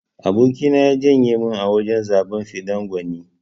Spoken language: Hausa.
Aboki na ya janye min a wajan zaben fidda gwani.